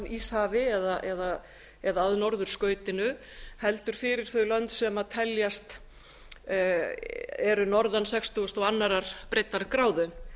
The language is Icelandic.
íshafi eða að norðurskautinu heldur fyrir þau lönd sem eru norðan sextugustu og annarri breiddargráðu